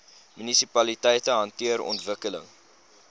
munisipaliteite hanteer ontwikkeling